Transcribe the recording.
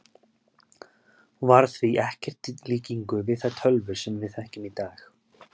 Hún var því ekkert í líkingu við þær tölvur sem við þekkjum í dag.